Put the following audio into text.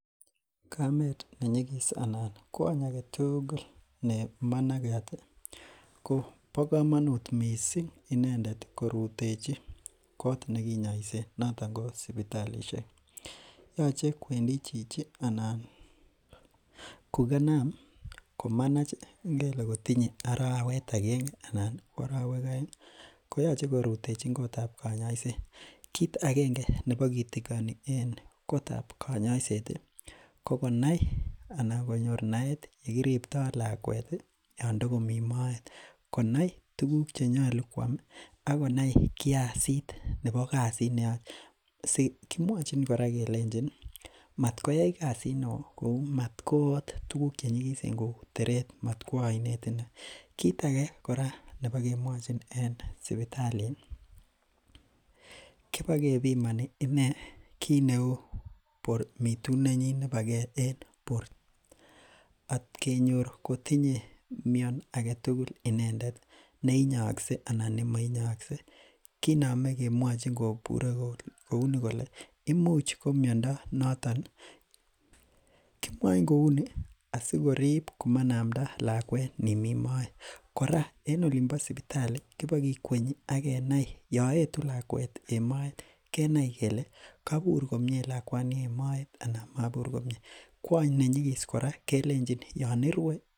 Kamet ne nyigis anan kwony aketugul nemanagat ih ko bo komonut missing inendet korutechi kot nekinyoisen noton ko sipitalisiek yoche kwendi chichi anan kokanam komanach ngele kotinye arawet agenge anan ko arowek oeng ko yoche korutechin kotab konyoiset, kit agenge nebo kitigoni en kotab konyoiset ih ko konai anan konyor naet yekiriptoo lakwet ih yon tokomii moet, konai tuguk chenyolu koam ak konai kasit nebo kasit neyoe. Kimwochin kora kelenjin matkoyai kasit neoo kou matko ot tuguk chenyigisen kou teret matkwo oinet, kit age nebokemwochin en sipitali kibokepimoni inee kit neu mitunetnyin en bor at kenyor kotinye mion aketugul inendet neinyookse anan nemoinyookse kinome kemwochin kobur kouni kole imuch ko miondo noton. Kimwoin kou ni asikorib komanamda lakwet nimii moet. Kora en olin bo sipitali kibokikwenyi ak kenai yon etu lakwet en moet kenai kele kobur lakwani komie en moet ana mobur komie. Kwony nenyigis kora kelenjin yon irue